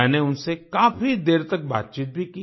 मैंने उनसे काफी देर तक बातचीत भी की